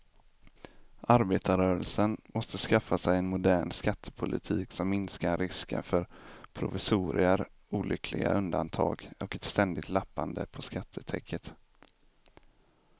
Arbetarrörelsen måste skaffa sig en modern skattepolitik som minskar risken för provisorier, olyckliga undantag och ett ständigt lappande på skattetäcket.